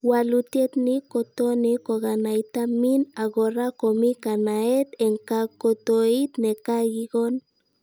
Walutiet ni kotoni kokainata mean ak kora komi kanataet eng kakotoit nekakikon